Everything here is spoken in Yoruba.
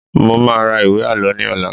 Mo máa ra ìwé Àlọ́ ní ọ̀la.